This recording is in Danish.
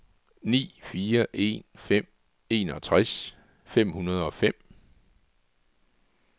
ni fire en fem enogtres fem hundrede og fem